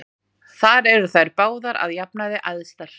Þar eru þær báðar að jafnaði æðstar.